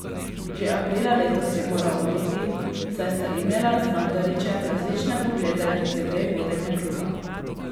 Že aprila letos je moral oditi, saj sta imela z Mandarićem različne poglede glede vodenja kluba.